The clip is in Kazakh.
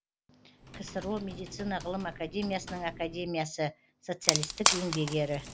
ксро медицина ғылым академиясының академиясы социалистік еңбек ері